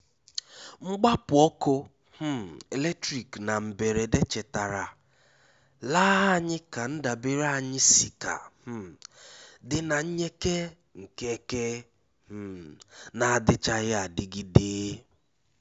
Mgbápu ọ́kụ́ um élétrík ná mbérédé chétàrà la ànyị́ ká ndábèré ànyị́ síkà um dí na nyèké nkéké um n’àdíchághí ádígídé.